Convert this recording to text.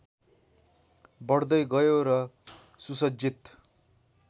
बढ्दै गयो र सुसज्जित